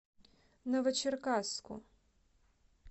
новочеркасску